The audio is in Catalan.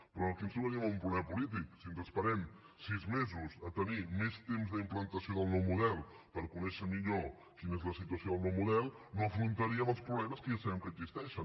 però aquí ens trobaríem amb un problema polític si ens esperem sis mesos a tenir més temps d’implantació del nou model per conèixer millor quina és la situació del nou model no afrontaríem els problemes que ja sabem que existeixen